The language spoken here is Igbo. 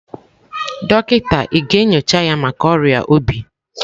Dọkịta ị ga-enyocha ya maka ọrịa obi?